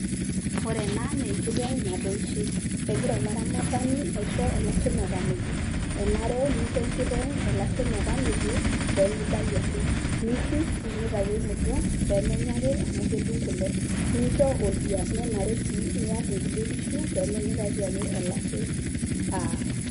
Ore ena nenkiteng' natoishe. Egira olaramatani aisho olashe metamejo. Enare nincho enkiteng olashe metamejo, pemibayu ake. Nirrip omitayu emudong',pemenya ake, amu kedung' kule. Nincho oldia. Nenare si niar inkulie kishu, pemenyikaki ake olashe aar.